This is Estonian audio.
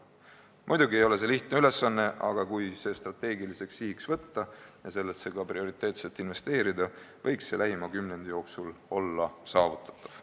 Muidugi ei ole see lihtne ülesanne, aga kui see strateegiliseks sihiks võtta ja sellesse ka prioriteetselt investeerida, võiks see lähima kümnendi jooksul olla saavutatav.